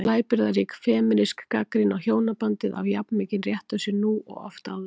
Blæbrigðarík femínísk gagnrýni á hjónabandið á jafn mikinn rétt á sér nú og oft áður.